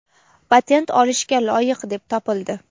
patent olishga loyiq deb topildi!.